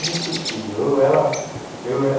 inesquecível